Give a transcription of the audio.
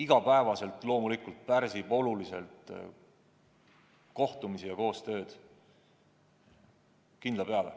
Igapäevaselt see loomulikult pärsib oluliselt kohtumisi – kindla peale!